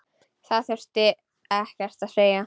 Það þurfti ekkert að segja.